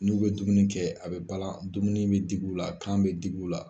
N'u bɛ dumuni kɛ a bɛ bala, dumuni in bɛ digi u la, kan bɛ digi u la.